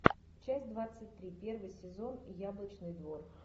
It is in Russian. часть двадцать три первый сезон яблочный двор